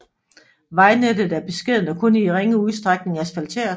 Vejnettet er beskedent og kun i ringe udstrækning asfalteret